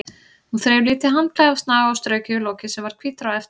Hún þreif lítið handklæði af snaga og strauk yfir lokið sem varð hvítara á eftir.